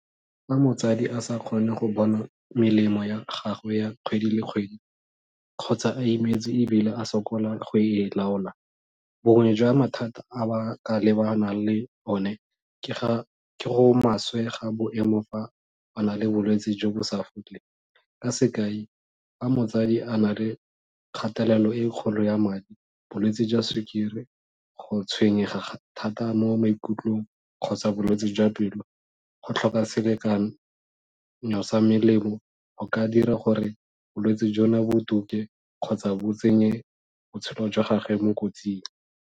Fa motsadi a sa kgone go bona melemo ya gagwe ya kgwedi le kgwedi kgotsa a imetswe ebile a sokola go e laola, bongwe jwa mathata a ba ka lebanang le one, ke ga ke go maswe ga boemo fa ba na le bolwetsi jo bo sa foleng, ka sekai, fa motsadi a na le kgatelelo e kgolo ya madi, bolwetsi jwa sukiri, go tshwenyega thata mo maikutlong, kgotsa bolwetse jwa pelo, go tlhoka selekanyo sa melemo go ka dira gore bolwetsi jona bo kgotsa bo tsenye botshelo jwa gagwe mo kotsing.